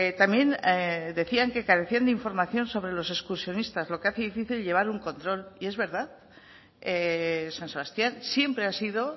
también decían que carecían de información sobre los excursionistas lo que hace difícil llevar un control y es verdad san sebastián siempre ha sido